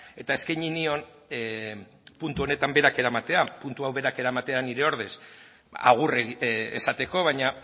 eta eskaini dion mundu honetan berak eramatea puntu hau berak eramatea nire ordez agur esateko baina